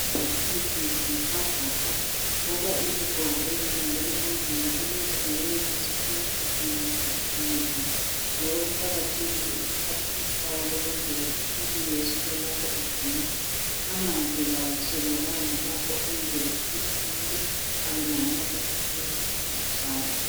Ezivocavoca, ugqoka izigqoko ezilandela umzimba ukuze ayenelise ukugijima ekhululekile. Njalo kuqakathekile ukuphatha ithawulo ukwenzela ukuthi ube uyesula lapho uginqa. Amanzi kawaswelakali lapho ukwenzela ukuthi umuntu abelamandla okudlala.